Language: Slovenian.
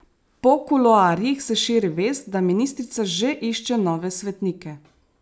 Po kuloarjih se širi vest, da ministrica že išče nove svetnike.